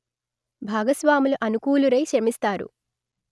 భాగస్వాములు అనుకూలురై శ్రమిస్తారు